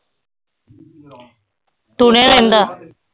ਤੁਰਿਆ ਰਹਿੰਦਾ।